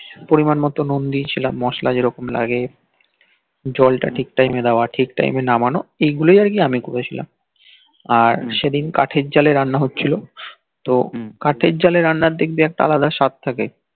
পরিমাণমতো নূন দিয়েছিলাম মসলা যে রকম লাগে জলটা ঠিক টাইমে দেওয়া ঠিক টাইমে নামানো এইগুলি কি আমি করেছিলাম আর সেদিন কাঠ জ্বালিয়ে রান্না হচ্ছিল তো কাঠের জলের আন্ডার দেখবি একটা আলাদা স্বাদ থাকে